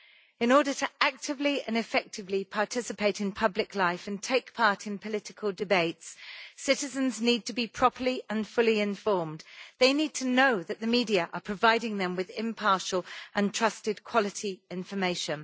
In order to actively and effectively participate in public life and take part in political debates, citizens need to be properly and fully informed. They need to know that the media are providing them with impartial and trusted quality information.